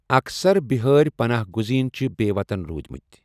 اكثر بِہٲرِ پناہ گٗزین چھِ بے٘ وطن روٗدِمتہِ ۔